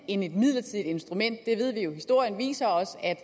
end et midlertidigt instrument det ved vi jo for historien viser os at